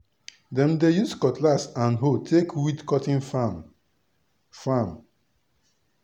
dem dey use cutlass and hoe take weed cotton farm. farm.